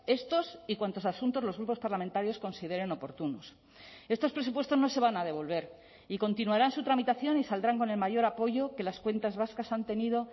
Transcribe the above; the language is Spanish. estos y cuantos asuntos los grupos parlamentarios consideren oportunos estos presupuestos no se van a devolver y continuarán su tramitación y saldrán con el mayor apoyo que las cuentas vascas han tenido